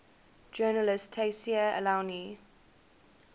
journalist tayseer allouni